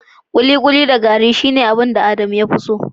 kikuli da gari shine Adamu mafi kyawun abinci